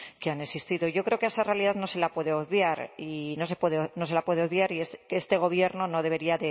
que han existido yo creo que a esa realidad no se la puede obviar y no se la puede obviar y es que este gobierno no debería